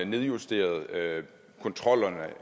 nedjusteret kontrollerne